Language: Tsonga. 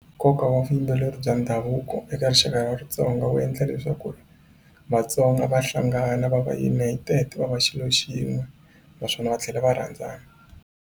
Nkoka wa vuyimbeleri bya ndhavuko eka rixaka ra Xitsonga wu endla leswaku Vatsonga va hlangana va va united va va xilo xin'we naswona va tlhela va rhandzana.